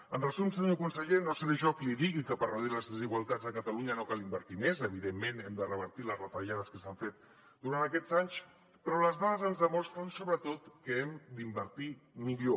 en resum senyor conseller no seré jo qui li digui que per reduir les desigualtats a catalunya no cal invertir més evidentment hem de revertir les retallades que s’han fet durant aquests anys però les dades ens demostren sobretot que hem d’invertir millor